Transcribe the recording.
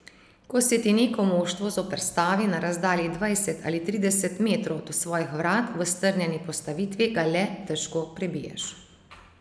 Ko se ti neko moštvo zoperstavi na razdalji dvajset ali trideset metrov od svojih vrat v strnjeni postavitvi, ga le težko prebiješ.